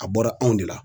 A bɔra anw de la